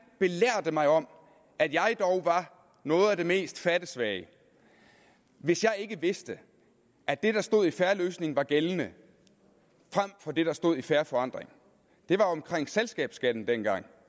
belærte mig om at jeg dog var noget af det mest fattesvage hvis jeg ikke vidste at det der stod i en fair løsning var gældende frem for det der stod i fair forandring det var omkring selskabsskatten dengang